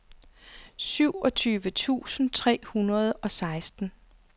syvogtyve tusind tre hundrede og seksten